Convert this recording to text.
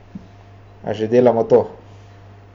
A že delam to.